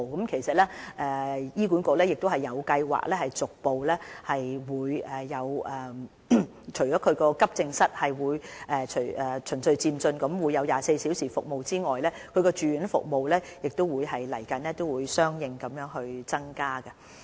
其實，醫管局已有計劃，除了急症室會循序漸進提供24小時的服務外，住院服務亦會在未來相應增加。